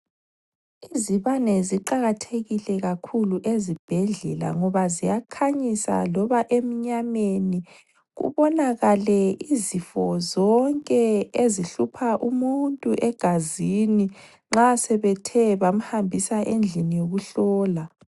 Izibane ziqakathekile kakhulu ezibhedlela ngoba ziyakhanyisa loba emnyameni, kubonakale izifo zonke ezihlupha umuntu egazini nxa sebethe bamhambisa endlini yokuhlola.